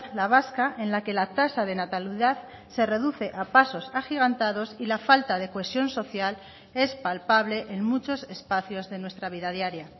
la vasca en la que la tasa de natalidad se reduce a pasos agigantados y la falta de cohesión social es palpable en muchos espacios de nuestra vida diaria